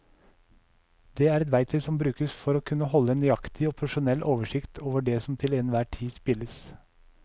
Det er et verktøy som brukes for å kunne holde en nøyaktig og profesjonell oversikt over det som til enhver tid spilles.